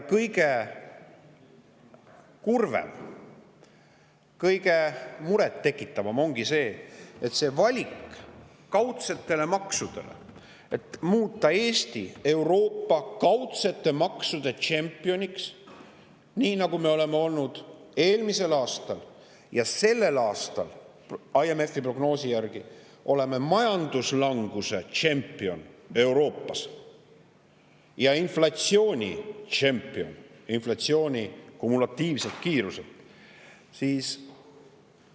Kõige kurvem, kõige murettekitavam ongi see kaudsete maksude kasuks tehtud valik, millega muudetakse Eesti Euroopa kaudsete maksude tšempioniks, nii nagu me olime eelmisel aastal ja oleme sel aastal IMF‑i prognoosi järgi majanduslanguse tšempion Euroopas ja inflatsioonitšempion inflatsiooni kumulatiivse kiiruse poolest.